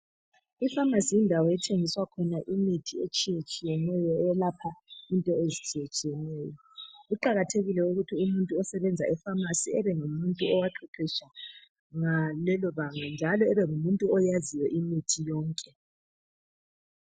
Ipharmacy yindawo ethengiswa khona imithi etshiyetshiyeneyo eyelapha into ezitshiyetshiyeneyo. Kuqakathekile ukuthi umuntu osebenza epaharmacy ebe ngumuntu owaqeqesha ngalelo banga, njalo ebengumuntu oyaziyo imithi yonke.